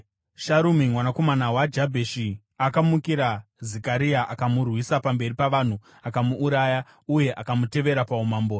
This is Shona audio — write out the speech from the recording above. Sharumi mwanakomana waJabheshi akamukira Zekaria. Akamurwisa pamberi pavanhu, akamuuraya uye akamutevera paumambo.